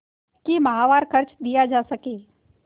कि माहवार खर्च दिया जा सके